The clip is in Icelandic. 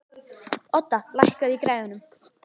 Odda, lækkaðu í græjunum.